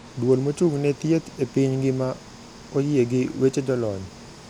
Duol mochung`ne thieth epiny ngima oyie gi weche jolony.